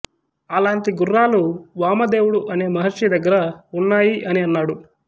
అలాంతి గుర్రాలు వామదేవుడు అనే మహర్షి దగ్గర ఉన్నాయి అని అన్నాడు